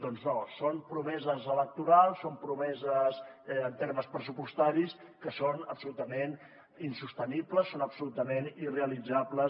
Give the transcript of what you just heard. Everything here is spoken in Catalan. doncs no són promeses electorals són promeses en termes pressupostaris que són absolutament insostenibles són absolutament irrealitzables